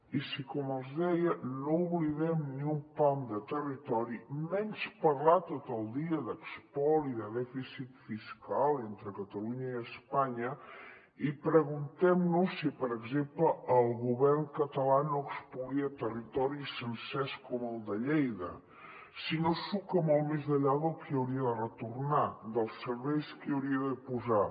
i si com els deia no oblidem ni un pam de territori menys parlar tot el dia d’espoli de dèficit fiscal entre catalunya i espanya i preguntem nos si per exemple el govern català no espolia territoris sencers com el de lleida si no suca molt més enllà del que hauria de retornar dels serveis que hi hauria de posar